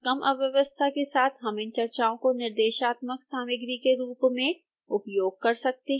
कम अव्यवस्था के साथ हम इन चर्चाओं को निर्देशन सामग्री के रूप में प्रयोग कर सकते हैं